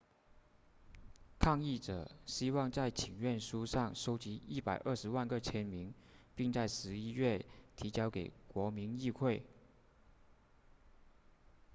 抗议者希望在请愿书上收集120万个签名并在十一月提交给国民议会